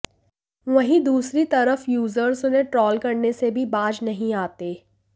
वहीं दूसरी तरफ यूजर्स उन्हें ट्रोल करने से भी बाज नहीं आते